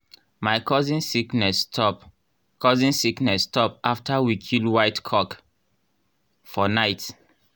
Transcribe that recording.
my cousin sickness stop cousin sickness stop after we kill white cock for night.